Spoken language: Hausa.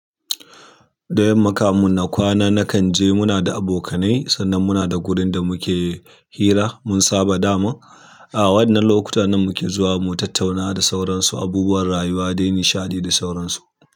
Da yamma kamun na kwana nakan je muna da abokanai sannan muna da wurin da muke hira mun saba daman. A wannan lokuta nan muke zuwa mu tattauna da sauransu abubuwan rayuwa dai nishaɗi da sauransu.